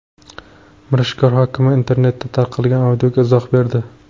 Mirishkor hokimi internetda tarqalgan audioga izoh berdi.